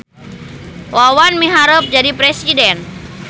Wawan miharep jadi presiden